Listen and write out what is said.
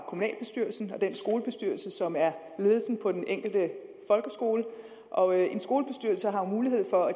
kommunalbestyrelsen og den skolebestyrelse som er ledelsen på den enkelte folkeskole og en skolebestyrelse har jo mulighed for